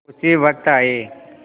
उसी वक्त आये